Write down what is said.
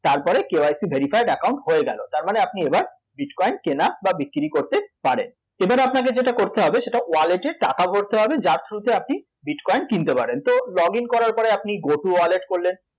তারপরে KYC verified account হয়ে গেল তার মানে আপনি এবার আপনি bitcoin কেনা বা বিক্রী করতে পারেন, সেখানে আপনাকে যেটা করতে হবে সেটা wallet এ টাকা ভরতে হবে যার through তে আপনি bitcoin কিনতে পারেন তো log in করার পরে আপনি go to wallet করলেন